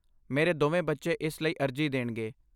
ਮੇਰੇ ਦੋਵੇਂ ਬੱਚੇ ਇਸ ਲਈ ਅਰਜ਼ੀ ਦੇਣਗੇ।